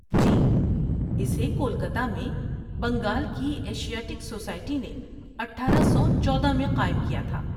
جی، اسے کولکتہ میں بنگال کی ایشیاٹک سوسائٹی نے اٹھارہ سو چودہ میں قائم کیا تھا